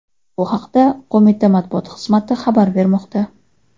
Bu haqda qo‘mita matbuot xizmati xabar bermoqda .